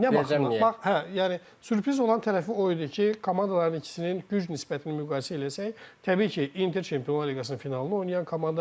Amma nə baxımından? Hə, yəni sürpriz olan tərəfi o idi ki, komandaların ikisinin güc nisbətini müqayisə eləsək, təbii ki, Inter Çempionlar liqasının finalını oynayan komandadır.